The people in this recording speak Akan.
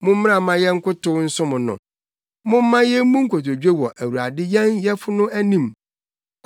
Mommra, mma yɛnkotow nsom no. Momma yemmu nkotodwe wɔ Awurade yɛn Yɛfo no anim!